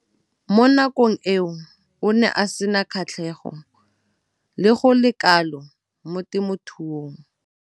Mo nakong eo o ne a sena kgatlhego go le kalo mo temothuong.